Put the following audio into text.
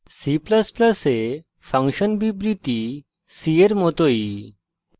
c ++ এ function বিবৃতি c এর মতই